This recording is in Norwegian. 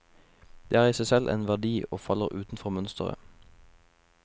Det er i seg selv en verdi og faller utenfor mønsteret.